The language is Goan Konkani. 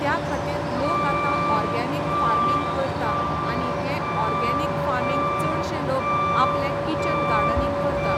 त्या खातीर लोक आतां ऑर्गेनिक फार्मींग करता आनी हें ऑर्गेनिक फार्मींग चडशे लोक आपलें किचन गार्डनींग करता.